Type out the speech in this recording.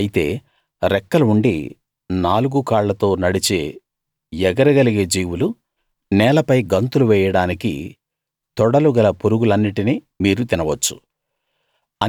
అయితే రెక్కలు ఉండి నలుగు కాళ్ళతో నడిచే ఎగరగలిగే జీవులు నేలపై గంతులు వేయడానికి తొడలు గల పురుగులన్నిటినీ మీరు తినవచ్చు